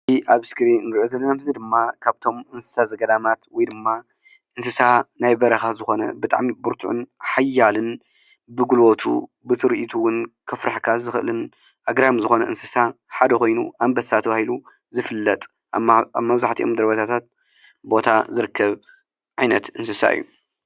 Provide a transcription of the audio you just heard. እዚ ኣብ እስክሪን ንሪኦ ዘለና እዚ ድማ ካብቶም እንስሳ ዘገዳማት ወይ ድማ እንስሳ ናይ በረኻ ዝኾነ ብጣዕሚ ብርቱዕን ሓያልን ብጉልበቱ ብትርኢቱ እውን ከፍርሐካ ዝኽእልን ኣግራሚ ዝኾነ እንስሳ ሓደ ኾይኑ ኣንበሳ ተባሂሉ ዝፍለጥ ኣብ መብዛሕቲኦም ደቦታታት ዝርከብ ዓይነት እንስሳ እዩ፡፡